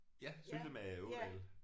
Ja Syltemade Ådal